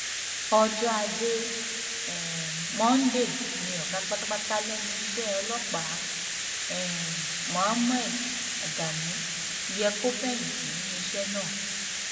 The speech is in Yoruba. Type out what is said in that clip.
ọjọ ajé um monde ni ọgá pátápátá lẹnu iṣẹ ọlọpàá um mohammed adamu yẹ kó fẹyìntì nínú iṣẹ náà